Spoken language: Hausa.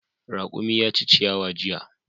Raƙumi ya ci ciyawa jiya.